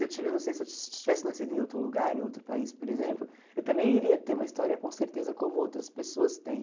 Eu ti eu não sei se eu tivesse nascido em outro lugar, em outro país, por exemplo, eu também iria ter uma história, com certeza, como outras pessoas têm.